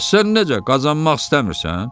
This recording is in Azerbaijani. Bəs sən necə qazanmaq istəmirsən?